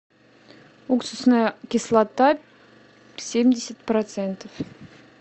уксусная кислота семьдесят процентов